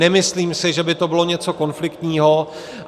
Nemyslím si, že by to bylo něco konfliktního.